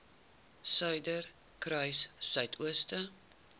suiderkruissuidooster